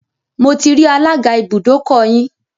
Mo ti rí alága ibùdókọ̀ yín.